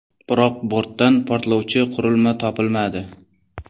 Biroq bortdan portlovchi qurilma topilmadi.